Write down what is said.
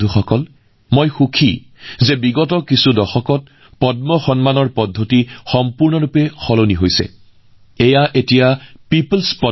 বন্ধুসকল যোৱা দশকত পদ্ম বঁটাৰ ব্যৱস্থাটো সম্পূৰ্ণৰূপে সলনি হোৱাত মই অতিশয় সুখী